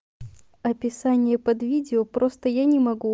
описание под видео просто я не могу